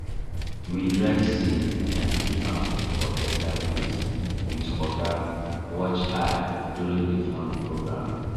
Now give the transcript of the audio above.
we dry seed and keep am for better place with oga watch eye during the farm program